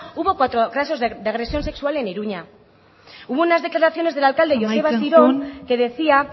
hubo casos de agresión sexual en iruña hubo unas declaraciones del alcalde joseba asiron que decía